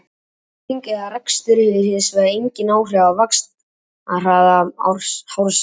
klipping eða rakstur hefur hins vegar engin áhrif á vaxtarhraða hársins